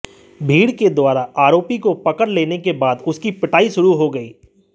भीड़ के द्वारा आरोपी को पकड़ लेने के बाद उसकी पिटाई शुरू हो गई